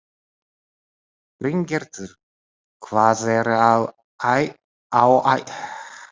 Bryngerður, hvað er á áætluninni minni í dag?